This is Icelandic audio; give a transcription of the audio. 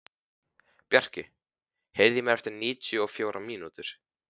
Bjarki, heyrðu í mér eftir níutíu og fjórar mínútur.